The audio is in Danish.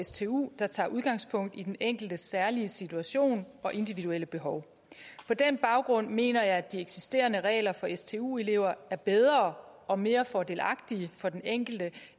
stu der tager udgangspunkt i den enkeltes særlige situation og individuelle behov på den baggrund mener jeg at de eksisterende regler for stu elever er bedre og mere fordelagtige for den enkelte